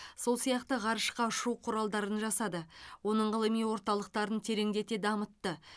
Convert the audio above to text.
сол сияқты ғарышқа ұшу құралдарын жасады оның ғылыми орталықтарын тереңдете дамытты